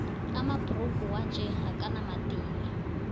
amabhrugu wanje akanamadini